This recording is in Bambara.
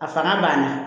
A fana banna